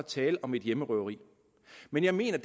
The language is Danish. tale om et hjemmerøveri men jeg mener